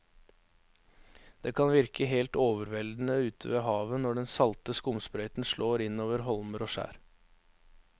Det kan virke helt overveldende ute ved havet når den salte skumsprøyten slår innover holmer og skjær.